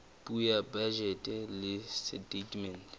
puo ya bajete le setatemente